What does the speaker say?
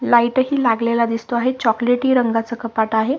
Light ही लागलेला दिसतो आहे चॉकलेटी रंगाचा कपाट आहे.